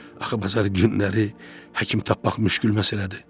Axı bazar günləri həkim tapmaq müşkül məsələdir.